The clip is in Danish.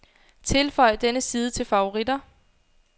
Tilføj denne side til favoritter.